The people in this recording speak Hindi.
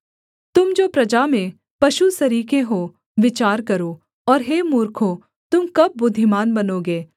तुम जो प्रजा में पशु सरीखे हो विचार करो और हे मूर्खों तुम कब बुद्धिमान बनोगे